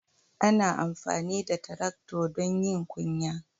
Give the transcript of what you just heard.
Ana amfani da Taractor don yin ƙunya.